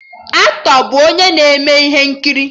Aktọ bụ onye na-eme ihe nkiri